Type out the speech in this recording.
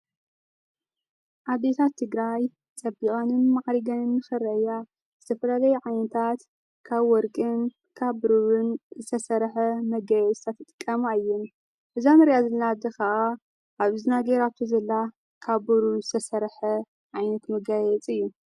ኣዴታት ትግራይ ጠቢዖንን መዓሪገንን ምአረገን ዝተፈለለይ ዓንንታት ካብ ወርቅን ካ ብሩርን ዝተሠርሐ መገይዝተ ትጥቀማ እይን ብዛን ርያ ዘልናዲ ኸዓ ኣብ ዝናጌይራቶ ዘላ ካቦሩ ዝተሠርሐ ዓይንት ምጋየጽ እዩ።